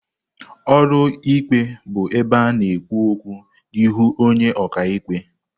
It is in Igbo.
Ụlọ ikpe bụ ebe a na-ekwu okwu n'ihu onye ọka ikpe.